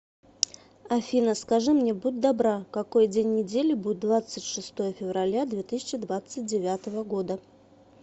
афина скажи мне будь добра какой день недели будет двадцать шестое февраля две тысячи двадцать девятого года